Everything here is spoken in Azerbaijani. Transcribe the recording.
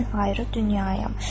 Mən ayrı dünyayam.